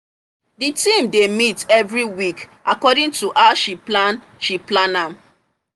the team dey meet every week according to how she plan she plan am